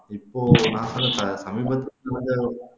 இப்போ சமீபத்துல நடந்த